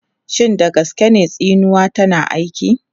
Shin da gaske ne tsinuwa tana aiki?